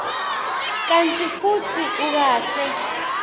kantsi futsi ukahle